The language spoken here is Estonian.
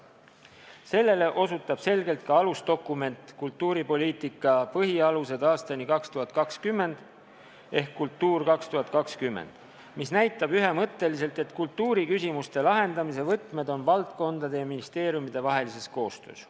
Sellele osutab selgelt ka alusdokument "Kultuuripoliitika põhialused aastani 2020" ehk "Kultuur 2020", mis näitab ühemõtteliselt, et kultuuriküsimuste lahendamise võtmed on valdkondade- ja ministeeriumidevahelises koostöös.